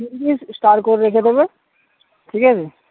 star করে রেখে দেবে ঠিক আছে